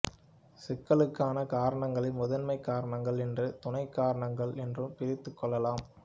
சிக்கலுக்கான காரணங்களை முதன்மைக் காரணங்கள் என்றும் துணைக்காரணங்கள் என்றும் பிரித்துக் கொள்ளலாம்